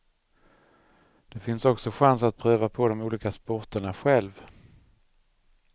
Det finns också chans att pröva på de olika sporterna själv.